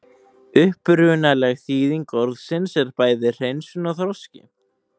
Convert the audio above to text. Upprunaleg þýðing orðsins er bæði hreinsun og þroski.